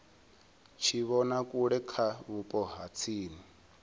tshivhonakule kha vhupo ha tsini